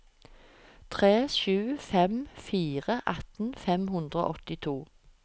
tre sju fem fire atten fem hundre og åttito